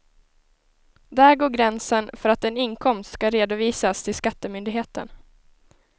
Där går gränsen för att en inkomst ska redovisas till skattemyndigheten.